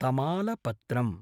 तमालपत्रम्